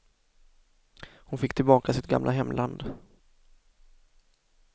Hon fick tillbaka sitt gamla hemland.